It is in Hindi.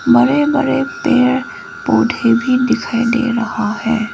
बड़े बड़े पेड़ पौधे भी दिखाई दे रहा है।